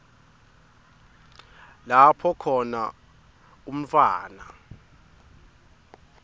lapho khona umntfwana